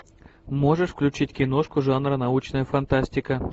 можешь включить киношку жанра научная фантастика